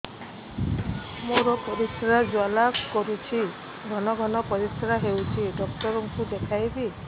ମୋର ପରିଶ୍ରା ଜ୍ୱାଳା କରୁଛି ଘନ ଘନ ପରିଶ୍ରା ହେଉଛି ଡକ୍ଟର କୁ ଦେଖାଇବି